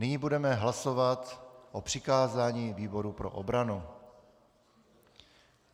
Nyní budeme hlasovat o přikázání výboru pro obranu.